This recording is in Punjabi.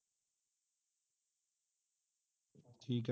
ਠੀਕ ਆ